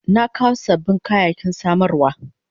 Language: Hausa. Na kawo sabbin kayayyaki samarwa.